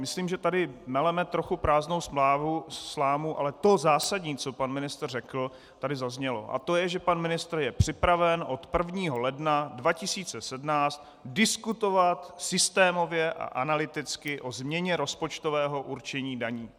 Myslím, že tady meleme trochu prázdnou slámu, ale to zásadní, co pan ministr řekl, tady zaznělo, a to je, že pan ministr je připraven od 1. ledna 2017 diskutovat systémově a analyticky o změně rozpočtového určení daní.